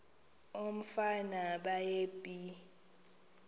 umfana baye bee